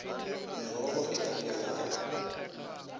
merogo e ka bjalwa ka